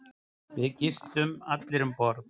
Við gistum allir um borð.